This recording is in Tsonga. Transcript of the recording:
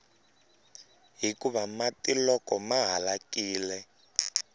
hikuva mati loko ma halakile